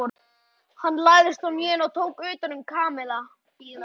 Hann lagðist á hnén og tók utan um Kamilla.